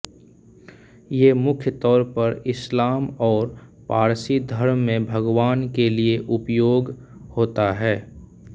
ये मुख्य तौर पर ईस्लाम ओर पारसी धर्म में भगवान के लिये उपयोग होता है